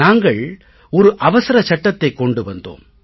நாங்கள் ஒரு அவசர சட்டத்தை கொண்டு வந்தோம்